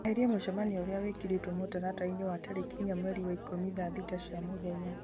eheria mũcemanio ũrĩa wekĩrĩtwo mũtaratara-inĩ wa tarĩki inya mweri wa ikũmi thaa thita cia mũthenya